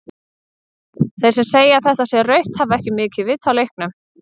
Þeir sem segja að þetta sé rautt hafa ekki mikið vit á leiknum.